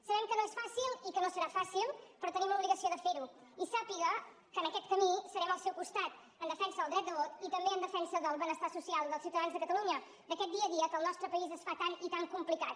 sabem que no és fàcil i que no serà fàcil però tenim l’obligació de fer ho i sàpiga que en aquest camí serem al seu costat en defensa del dret de vot i també en defensa del benestar social dels ciutadans de catalunya d’aquest dia a dia que al nostre país es fa tan i tan complicat